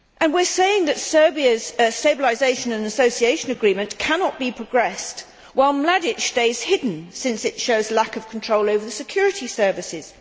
We are saying that Serbia's stabilisation and association agreement cannot be progressed while Mladić stays hidden, since it shows lack of control over the security services.